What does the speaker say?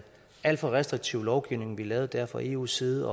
alt for restriktiv lovgivning vi lavede dér fra eus side